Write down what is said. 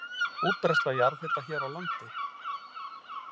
Útbreiðsla jarðhita hér á landi